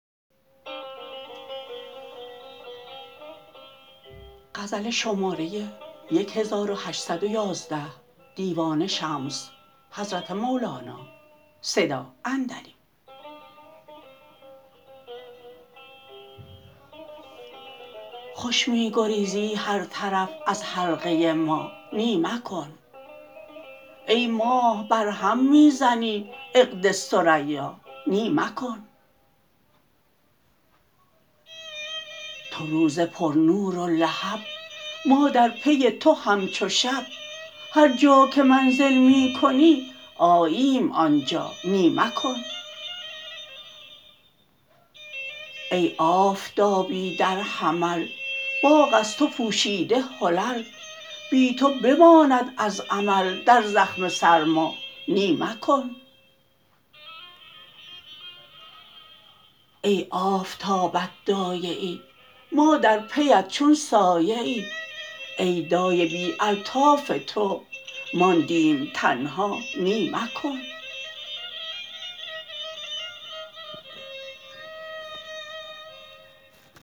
خوش می گریزی هر طرف از حلقه ما نی مکن ای ماه برهم می زنی عهد ثریا نی مکن تو روز پرنور و لهب ما در پی تو همچو شب هر جا که منزل می کنی آییم آن جا نی مکن ای آفتابی در حمل باغ از تو پوشیده حلل بی تو بماند از عمل در زخم سرما نی مکن ای آفتابت دایه ای ما در پیت چون سایه ای ای دایه بی الطاف تو ماندیم تنها نی مکن